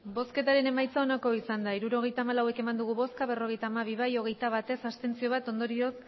hirurogeita hamalau eman dugu bozka berrogeita hamabi bai hogeita bat ez bat abstentzio ondorioz